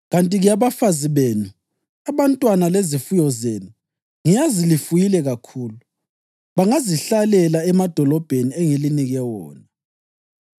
Kanti-ke abafazi benu, abantwana lezifuyo zenu (ngiyazi lifuyile kakhulu) bangazihlalela emadolobheni engilinike wona,